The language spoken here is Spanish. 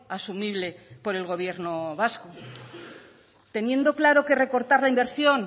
asumible por el gobierno vasco teniendo claro que recortar la inversión